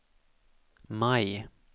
maj